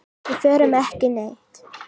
Við förum ekki neitt.